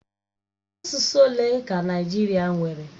Asụsụ ole ka Naịjirịa nwere?